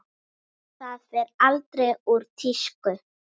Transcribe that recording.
Það fer aldrei úr tísku.